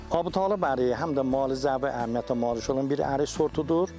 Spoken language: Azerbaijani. Əbutalibi əriyi həm də müalicəvi əhəmiyyətə malik olan bir ərik sortudur.